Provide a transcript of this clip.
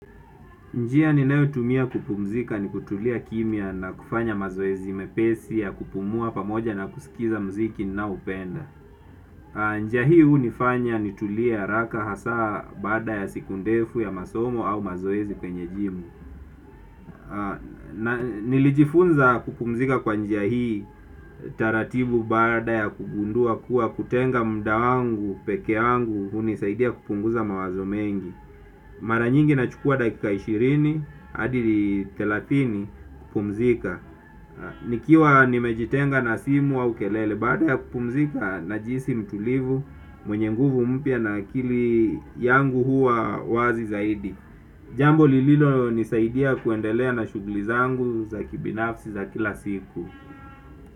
Njia ninayotumia kupumzika ni kutulia kimya na kufanya mazoezi mepesi ya kupumua pamoja na kusikiza mziki ninaoupenda. Njia hii hunifanya ni tulie haraka hasa baada ya siku ndefu ya masomo au mazoezi kwenye jimu. Nilijifunza kupumzika kwa njia hii taratibu baada ya kugundua kuwa kutenga mda wangu, peke yangu, hunisaidia kupunguza mawazo mengi. Mara nyingi na chukua dakika ishirini hadi thelathini kupumzika. Nikiwa nimejitenga na simu au kelele. Bada ya kupumzika najihisi mtulivu mwenye nguvu mpya na akili yangu huwa wazi zaidi. Jambo lililo nisaidia kuendelea na shughuli zangu za kibinafsi za kila siku.